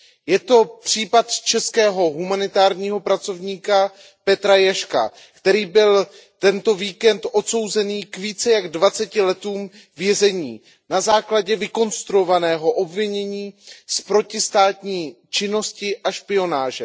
Je to případ českého humanitárního pracovníka Petra Ježka, který byl tento víkend odsouzen k více než 20 letům vězení na základě vykonstruovaného obvinění z protistátní činnosti a špionáže.